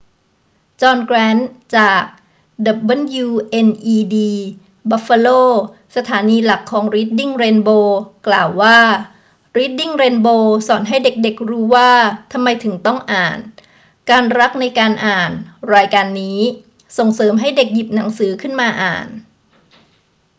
จอห์น แกรนต์ จาก wned buffalo สถานีหลักของรีดดิ้งเรนโบว์ กล่าวว่า รีดดิ้งเรนโบว์สอนให้เด็ก ๆ รู้ว่าทำไมถึงต้องอ่าน ... การรักในการอ่าน [รายการนี้] ส่งเสริมให้เด็กหยิบหนังสือขึ้นมาอ่าน